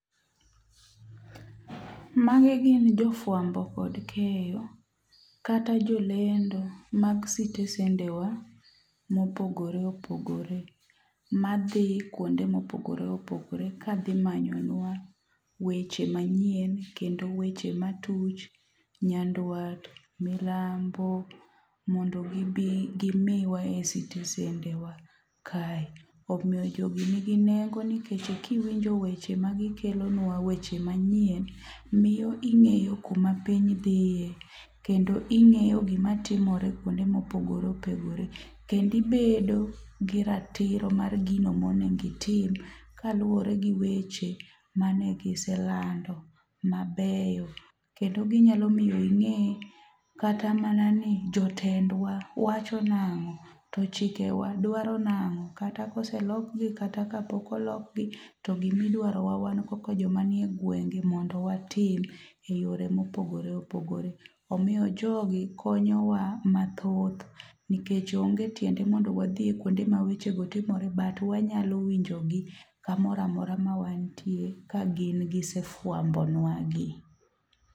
Magi gin jofwambo kod keyo. Kata jolendo mag sitesendewa mopogore opogore madhi kuonde mopogore opogore kadhi manyonwa weche manyien kendo weche matuch, nyandwat, milambo mondo gibi gimiwa esitesendewa kae. Omiyo jogi nigi nengo nikech kiwinjo weche magi kelonwa weche manyien miyo ing'eyo kuma piny dhie. Kendo ing'eyo gima timore kuonde mopogore opogore. Kendo ibedo gi ratiro mar gino monengo itim kaluoregi weche mane giselando mabeyo. Kendo ginyalo miyo ing'e kata mana ni jotendwa wacho nang'o to chikewa dwaro nang'o kata koselokgi kata kapok olokgi to gima idwarowa wan kaka joma nie gwenge mondo watim eyore mopogore opogore. Omiyo jogi konyowa mathoth nikech onge tiende mondo wadhie kuonde mawechego timore but wanyalo winjogi kamoro amora mawantie kagin gisefwambonwagi.